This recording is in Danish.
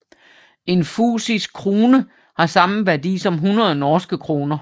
En fusisk krune har samme værdi som hundrede norske kroner